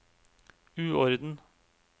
uorden